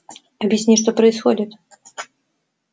объясни что происходит